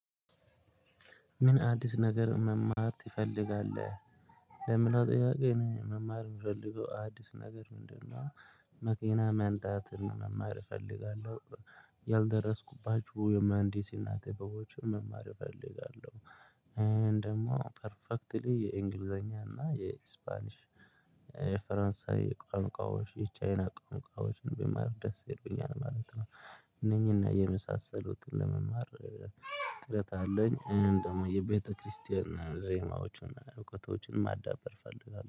ምን አዲስ ነገር መማር ትፈልጋለህ? ለሚለው ጥያቄ እኔ መማር የምፈልገው አዲስ ነገር ምንድነው መኪና መንዳትን መማር እፈልጋለሁ። ያልደረስኩባቸው የመሃንዲስነት ጥበቦችን መማር እፈልጋለሁ ደግሞ ፐርፌክትሊ የእንግሊዘኛ እና የስፓኒሽ የፈረንሳይ ቋንቋዎች፣ የቻይና ቋንቋዎችን ብማር ደስ ይለኛል ማለት ነው። እነኚህና የመሳሰሉትን ለመማር ጥረት አለኝ። እኔም ደግሞ የቤተክርስቲያን ዜማዎችን እውቀቶችን ማዳበር እፈልጋለሁ